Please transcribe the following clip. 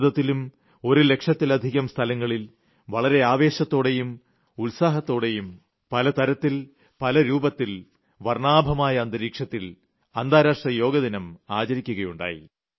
ഭാരത്തിലും ഒരു ലക്ഷത്തിലധികം സ്ഥലങ്ങളിൽ വളരെ ആവേശത്തോടെയും ഉത്സാഹത്തോടെയും പല തരത്തിൽ പല രൂപത്തിൽ വർണ്ണാഭമായ അന്തരീക്ഷത്തിൽ അന്താരാഷ്ട്ര യോഗാ ദിനം ആചരിക്കുകയുണ്ടായി